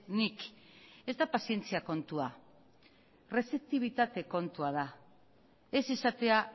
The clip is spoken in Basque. nik ez da pazientzia kontua errezeptibitate kontua da ez izatea